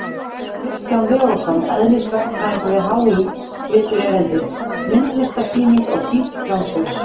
Kristján Leósson, eðlisverkfræðingur við HÍ, flytur erindið: Myndlistarsýning á títuprjónshaus!